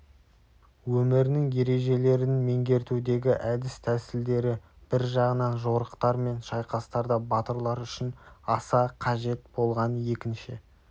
өмірінің ережелерін меңгертудегі әдіс-тәсілдері бір жағынан жорықтар мен шайқастарда батырлар үшін аса қажет болған екінші